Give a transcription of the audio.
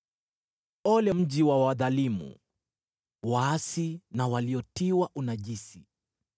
Ole mji wa wadhalimu, waasi na waliotiwa unajisi!